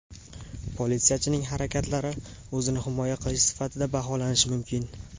Politsiyachining harakatlari o‘zini himoya qilish sifatida baholanishi mumkin.